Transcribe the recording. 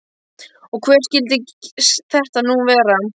Og hver skyldi þetta nú vera?